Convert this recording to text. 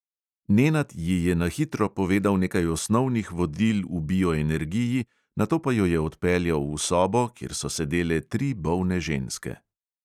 Nenad ji je na hitro povedal nekaj osnovnih vodil v bioenergiji, nato pa jo je odpeljal v sobo, kjer so sedele tri bolne ženske.